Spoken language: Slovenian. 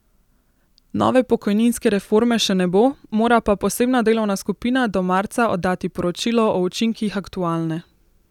Nove pokojninske reforme še ne bo, mora pa posebna delovna skupina do marca oddati poročilo o učinkih aktualne.